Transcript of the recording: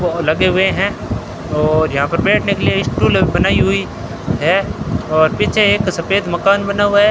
लगे हुए हैं और यहां पर बैठने के लिए स्टुल बनाई हुई है और पीछे एक सफेद मकान बना हुआ है।